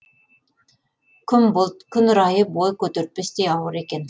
күн бұлт күн райы бой көтертпестей ауыр екен